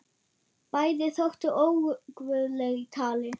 Bæði þóttu óguðleg í tali.